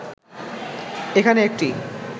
এখানে একটি